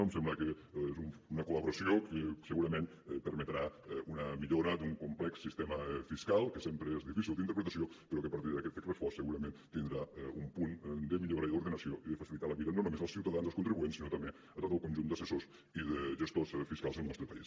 em sembla que és una col·laboració que segurament permetrà una millora d’un complex sistema fiscal que sempre és difícil d’interpretació però que a partir d’aquest text refós segurament tindrà un punt de millora i d’ordenació i de facilitar la vida no només als ciutadans als contribuents sinó també a tot el conjunt d’assessors i de gestors fiscals del nostre país